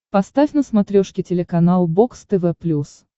поставь на смотрешке телеканал бокс тв плюс